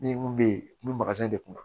Min kun be yen kun bɛ de kun na